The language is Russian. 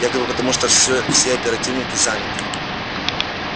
якобы потому что всё все оперативники заняты